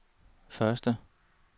første